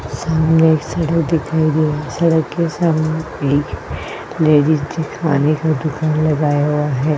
सामने एक सड़क दिखाई दे रहा है। सड़क के सामने एक लेडिज़ खाने का दुकान लगाया हुआ है।